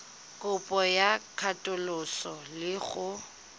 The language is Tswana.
kopo ya katoloso le go